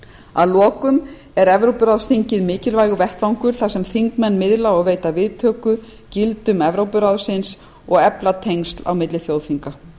að lokum er evrópuráðsþingið mikilvægur vettvangur þar sem þingmenn miðla og veita viðtöku gildum evrópuráðsins og efla tengsl á milli þjóðþinga